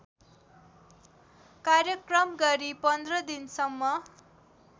कार्यक्रम गरी १५ दिनसम्म